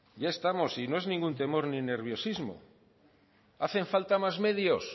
ya estamos y no es ningún temor ni nerviosismo hacen falta más medios